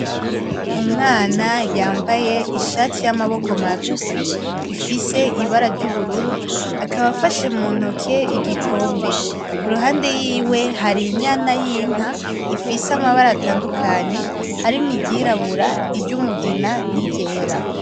Umwana yambaye ishati yamaboko magufi ifise ibara ry’ubururu akaba afashe muntoke igikombe. Kuruhande yiwe hari inyana y’inka ifise amabara atandukanye harimwo iryirabura; iry’umugina n’iryera.